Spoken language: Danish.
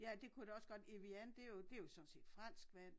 Ja det kunne det også godt Evian det jo det jo sådan set fransk vand